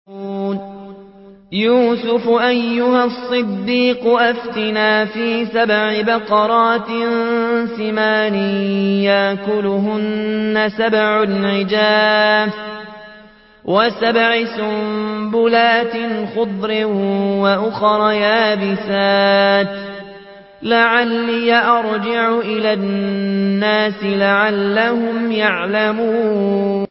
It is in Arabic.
يُوسُفُ أَيُّهَا الصِّدِّيقُ أَفْتِنَا فِي سَبْعِ بَقَرَاتٍ سِمَانٍ يَأْكُلُهُنَّ سَبْعٌ عِجَافٌ وَسَبْعِ سُنبُلَاتٍ خُضْرٍ وَأُخَرَ يَابِسَاتٍ لَّعَلِّي أَرْجِعُ إِلَى النَّاسِ لَعَلَّهُمْ يَعْلَمُونَ